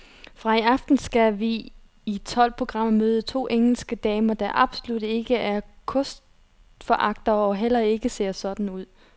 Fra i aften skal vi i tolv programmer møde to engelske damer, der absolut ikke er kostforagtere og heller ikke ser sådan ud.